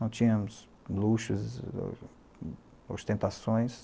Não tínhamos luxos, ostentações.